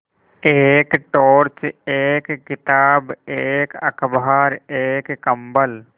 एक टॉर्च एक किताब एक अखबार एक कम्बल